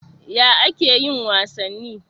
Ya ake yin wasanni?